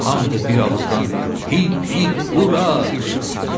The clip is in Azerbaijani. Hamı da bir ağızdan “Hip, hip, ura!” qışqırdı.